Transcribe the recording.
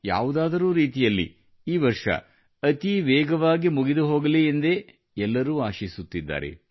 ಯಾವುದಾದರೂ ರೀತಿಯಲ್ಲಿ ಈ ವರ್ಷ ಅತೀ ವೇಗವಾಗಿ ಮುಗಿದು ಹೋಗಲಿ ಎಂದೇ ಎಲ್ಲರೂ ಆಶಿಸುತ್ತಿದ್ದಾರೆ